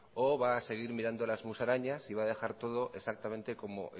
o va a seguir mirando a las musarañas y va a dejar todo exactamente como